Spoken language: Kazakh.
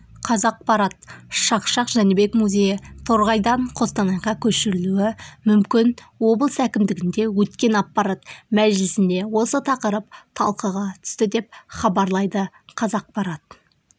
қазақпарат шақшақ жәнібек музейі торғайдан қостанайға көшірілуі мүмкін облыс әкімдігінде өткен аппарат мәжілісінде осы тақырып талқыға түсті деп хабарлайды қазақпарат